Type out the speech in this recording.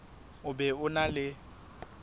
o be o na le